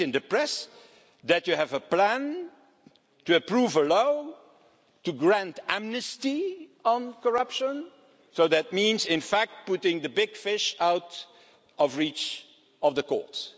I read in the press that you have a plan to approve a law to grant amnesty on corruption, so that means putting the big fish out of reach of the courts.